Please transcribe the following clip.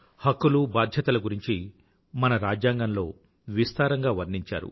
హక్కులూ బాధ్యతల గురించి మన రాజ్యాంగంలో విస్తారంగా వర్ణించారు